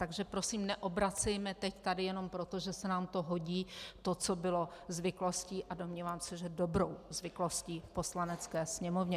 Takže prosím neobracejme teď tady jenom proto, že se nám to hodí, to, co bylo zvyklostí, a domnívám se, že dobrou zvyklostí v Poslanecké sněmovně.